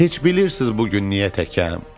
Heç bilirsiz bu gün niyə təkəm?